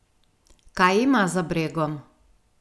Kaj ima za bregom?